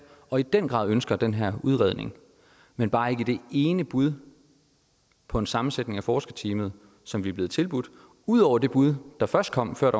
og i den grad ønsket den her udredning men bare ikke det ene bud på en sammensætning af forskerteamet som vi blev tilbudt ud over det bud der først kom før